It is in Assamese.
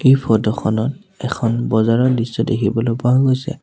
এই ফটো খনত এখন বজাৰৰ দৃশ্য দেখিবলৈ পোৱা গৈছে।